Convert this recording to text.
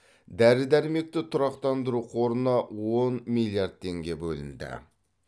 дәрі дәрмекті тұрақтандыру қорына он миллиард теңге бөлінді